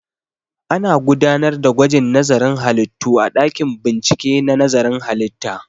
Ana gudanar da gwajin nazarin halittu a ɗakin bincike na nazarin halitta